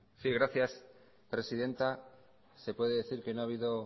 maneiro jauna gracias presidenta se puede decir que no ha habido